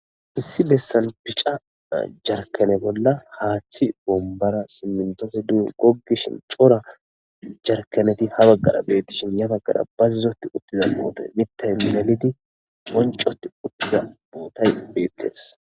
Issi bessan bica jarkkane bolla haathi bombbara simmintofe duge goggishin coora jarkaneti ha baggara bettishin ya baggara bazzotti uttiza bootay mittay melidi bonccoti uttiza bootay beettes.